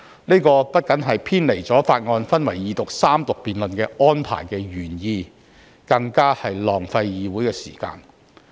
這不僅偏離法案分為二讀辯論及三讀安排的原意，更浪費議會的時間。